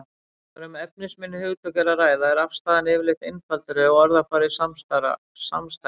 Þegar um efnisminni hugtök er að ræða er afstaðan yfirleitt einfaldari og orðafarið samstæðara.